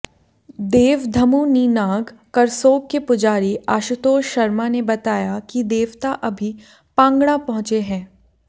देव धमुनीनाग करसोग के पुजारी आशुतोष शर्मा ने बताया कि देवता अभी पांगणा पहुंचे हैं